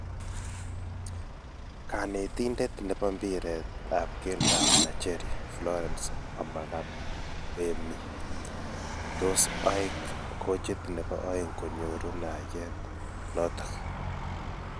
Kanetindet nebo mpiret ap keldo ap nigeria, Florence Omagbemi, tos eek koochit nebo aeng' konyooru naaryeet nootok